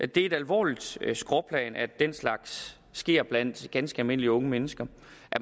det er et alvorligt skråplan at den slags sker blandt ganske almindelige unge mennesker